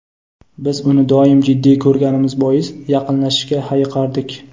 Biz uni doim jiddiy ko‘rganimiz bois, yaqinlashishga hayiqardik.